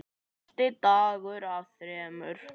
Fyrsti dagur af þremur.